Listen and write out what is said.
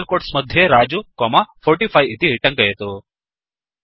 double quotes मध्ये रजु comma 45 इति टङ्कयतु